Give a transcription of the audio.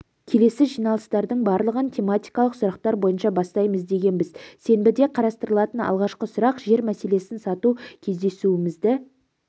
келесі жиналыстардың барлығын тематикалық сұрақтар бойынша бастаймыз дегенбіз сенбіде қарастырылатын алғашқы сұрақ жер мәселесін сату кездесуімізді